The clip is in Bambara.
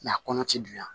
a kɔnɔ ti dun yan